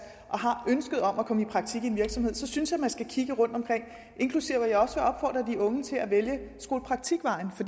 og har ønsket om at komme i praktik i en virksomhed synes jeg man skal kigge rundtomkring og unge til at vælge skolepraktikvejen for